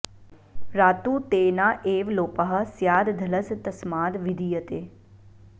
रात्तु ते न एव लोपः स्याद् धलस् तस्माद् विधीयते